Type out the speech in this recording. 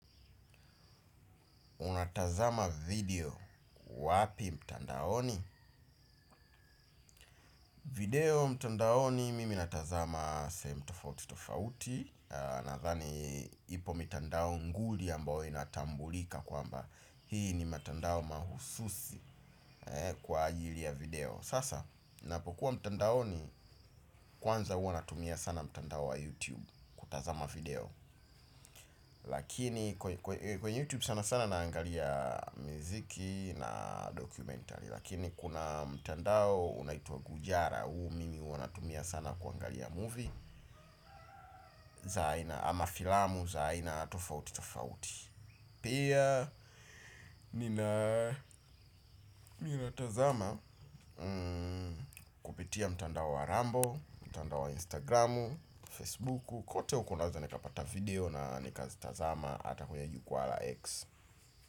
Unatazama video wapi mtandaoni? Video mtandaoni mimi natazama sehemu tofauti tofauti. Nadhani ipo mitandao nguli ambaoyo inatambulika kwamba hii ni mitandao mahususi kwa ajili ya video. Sasa ninapokuwa mtandaoni kwanza hua natumia sana mtandao wa youtube kutazama video. Lakini kwenye youtube sana sana naangalia miziki na dokumentari. Lakini kuna mtandao unaitwa Goojara huu mimi huwa natumia sana kuangalia movie za aina ama filamu za aina tofauti tofauti. Pia nina tazama kupitia mtandao wa Rambo. Mtandao wa Instagramu, Facebuku kote huko naweza nikapata video na nikazitazama hata kwenye jukwaa la X.